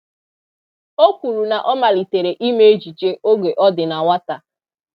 O kwuru na ọ malitere ime ejije oge ọ dị na nwata